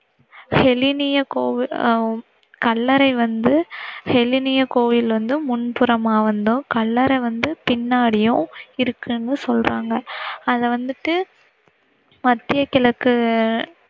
ஹெலினிய கோவில் அஹ் கல்லறை வந்து, ஹெலினிய கோவில் வந்து முன்புறமா வந்தும் கல்லறை வந்து பின்னாடியும் இருக்குனு சொல்றங்க. அத வந்திட்டு மத்தியகிழக்கு